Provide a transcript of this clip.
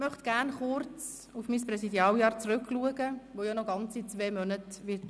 Ich möchte kurz auf mein Präsidialjahr zurückblicken, welches noch ganze zwei Monate dauern wird.